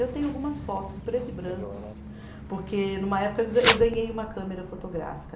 Eu tenho algumas fotos em preto e branco, porque numa época eu ga, eu ganhei uma câmera fotográfica.